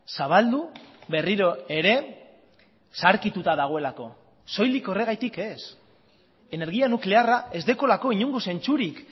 zabaldu berriro ere zaharkituta dagoelako soilik horregatik ez energia nuklearra ez daukalako inongo zentzurik